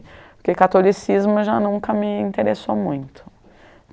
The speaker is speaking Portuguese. Porque catolicismo já nunca me interessou muito.